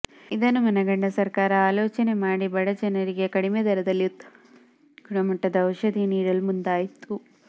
ಇದನ್ನು ಮನಗಂಡ ಸರಕಾರ ಆಲೋಚನೆ ಮಾಡಿ ಬಡಜನರಿಗೆ ಕಡಿಮೆ ದರದಲ್ಲಿ ಉತ್ತಮ ಗುಣಮಟ್ಟದ ಔಷಧಿ ನೀಡಲು ಮುಂದಾಯಿತು